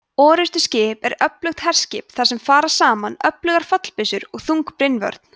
orrustuskip er öflugt herskip þar sem fara saman öflugar fallbyssur og þung brynvörn